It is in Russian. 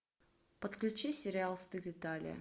подключи сериал стыд италия